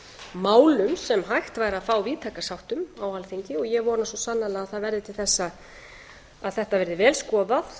málum sem hægt væri að fá víðtæka sátt um á alþingi og ég vona svo sannarlega að það verði til þess að þetta verði vel skoðað